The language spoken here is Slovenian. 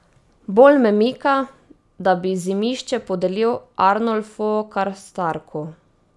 Bolj me mika, da bi Zimišče podelil Arnolfu Karstarku.